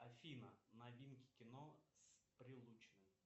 афина новинки кино с прилучным